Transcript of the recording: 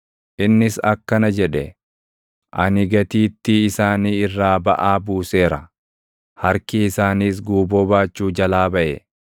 Innis akkana jedhe; // “Ani gatiittii isaanii irraa baʼaa buuseera; harki isaanis guuboo baachuu jalaa baʼe.